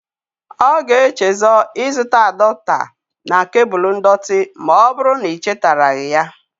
Ọ ga-echezo ịzụts adọota na kebul ndọtị ma ọbụrụ na i chetaraghi ya.